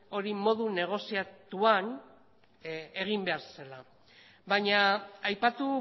hori modu negoziatuan egin behar zela baina aipatu